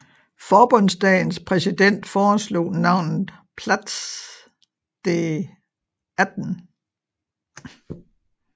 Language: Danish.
Forbundsdagens præsident foreslog navnet Platz des 18